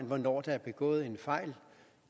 hvornår der er begået en fejl